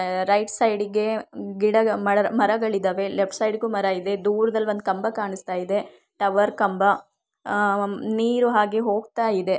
Right side ಗೆ ಗಿಡ ಮರಗಳಿದ್ದಾವೆ ಲೆಫ್ಟ್ ಸೈಡ್ ಗು ಮರ ಇದೆ ದೂರದಲ್ಲಿ ಒಂದು ಕಂಬ ಕಾಣಿಸ್ತಾ ಇದೆ ಟವರ್ ಕಂಬ ಅಹ್ ನೀರು ಹಾಗೆ ಹೋಗ್ತಾ ಇದೆ.